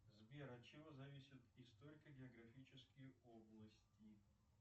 сбер от чего зависят историко географические области